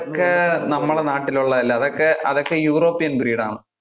ക്കെ നമ്മുടെ നാട്ടിൽ ഉള്ളത് അല്ല. അതൊക്കെ അതൊക്കെ european breed ആണ്.